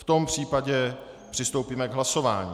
V tom případě přistoupíme k hlasování.